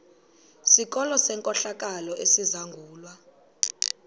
sikolo senkohlakalo esizangulwa